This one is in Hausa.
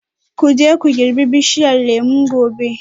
Ku je ku girbi bishiyar lemu gobe